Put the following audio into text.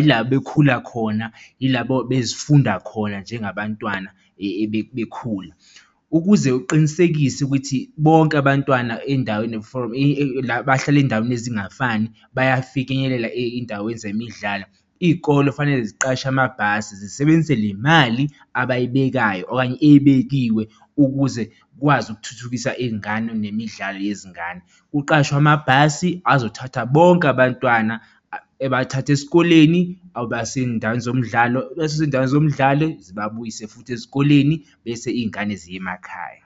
yila bekhula khona yila bezifunda khona njengabantwana bekhula. Ukuze uqinisekise ukuthi bonke abantwana ey'ndaweni from la abahlala ezindaweni ezingafani bayafika ifinyelela ey'ndaweni zemidlalo, iy'kole kufanele ziqashe amabhasi zisebenzise le mali abayibekayo okanye ebekiwe ukuze kwazi ukuthuthukisa iy'ngane nemidlalo yezingane. Kuqashwe amabhasi azothatha bonke abantwana ebathathe esikoleni ebase ey'ndaweni zomdlalo ebase ey'ndaweni zemdlalo zibabuyise futhi esikoleni bese iy'ngane ziye emakhaya.